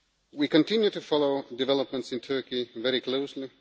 We continue to follow developments in Turkey very closely.